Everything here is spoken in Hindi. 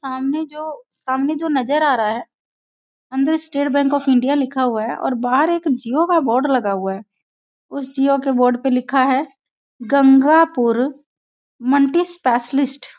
सामने जो सामने जो नजर आ रहा है अंदर स्टेट बैंक ऑफ़ इंडिया लिखा हुआ है और बाहर एक जिओ का बोर्ड लगा हुआ है। उस जिओ के बोर्ड पे लिखा है गंगापुर मल्टीस्पेशलिस्ट ।